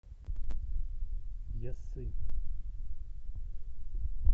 яссы